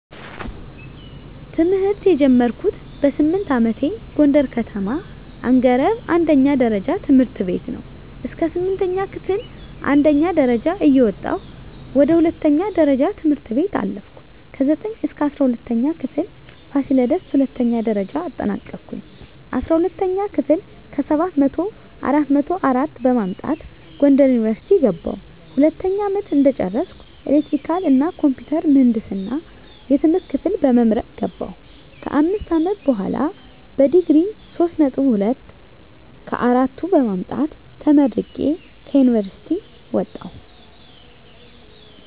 ትምህርት የጀመርኩት በስምንት አመቴ ጎንደር ከተማ አንገረብ አንደኛ ደረጃ ትምህርት ቤት ነው። እስከ ስምንተኛ ክፍል አንደኛ ደረጃ እየወጣሁ ወደ ሁለተኛ ደረጃ ትምህርት ቤት አለፍኩ። ከዘጠኝ እስከ እስራ ሁለተኛ ክፍል ፋሲለደስ ሁለተኛ ደረጃ አጠናቀኩኝ። አስራ ሁለተኛ ክፍል ከሰባት መቶው አራት መቶ አራት በማምጣት ጎንደር ዩኒቨርሲቲ ገባሁ። ሁለተኛ አመት እንደጨረስኩ ኤሌክትሪካል እና ኮምፒውተር ምህንድስና የትምህርት ክፍል በመምረጥ ገባሁ። ከአምስት አመት በሆላ በዲግሪ ሶስት ነጥብ ሁለት ከአራቱ በማምጣት ተመርቄ ከዩኒቨርሲቲ ወጣሁ።